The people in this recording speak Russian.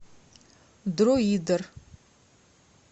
друидер